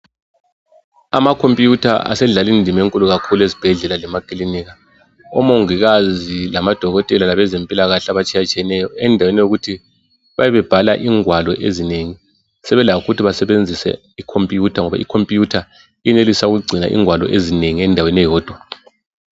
Amakhompiyutha asedlala indima enkulu kakhulu ezibhedlela lemakilinika. Omongikazi lamadokotela labezempilakahle abatshiyetshiyeneyo, endaweni yokuthi bebe bebhala ingwalo ezinengi, sebelakho ukuthi basebenzise ikhompiyutha ngoba ikhompiyutha iyenelisa ukugcina ingwalo ezinengi endaweni eyodwa.